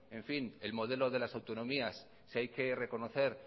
en fin el modelo de las autonomías si hay que reconocer